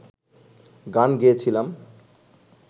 গান গেয়েছিলাম